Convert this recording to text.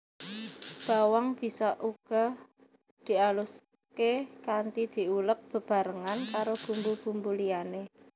Bawang bisa uga dialuské kanthi diuleg bebarengan karo bumbu bumbu liyané